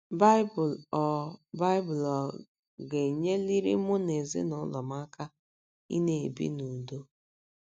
Baịbụl Ọ ̀ Baịbụl Ọ ̀ Ga - enyeliri Mụ na Ezinụlọ M Aka Ịna - ebi n’Udo?